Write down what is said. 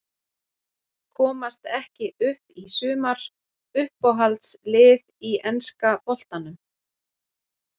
Komast ekki upp í sumar Uppáhalds lið í enska boltanum?